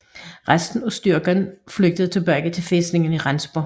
Resten af styrken flygtede tilbage til fæstningen i Rendsborg